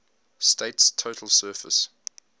state's total surface